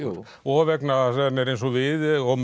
og vegna þess að hann er eins og við og